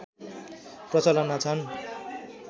प्रचलनमा छन्